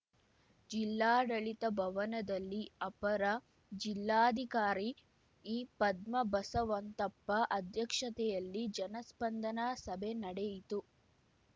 ಜಿಲ್ಲಾಡಳಿತ ಭವನದಲ್ಲಿ ಅಪರ ಜಿಲ್ಲಾಧಿಕಾರಿ ಈ ಪದ್ಮ ಬಸವಂತಪ್ಪ ಅಧ್ಯಕ್ಷತೆಯಲ್ಲಿ ಜನಸ್ಪಂದನಾ ಸಭೆ ನಡೆಯಿತು